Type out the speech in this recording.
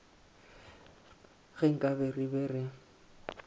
ge nkabe re be re